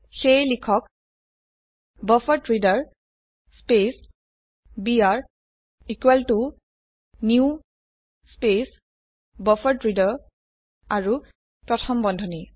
সেয়ে লিখক buffered reader space B R equal to new space buffered reader আৰু প্ৰথম বন্ধনী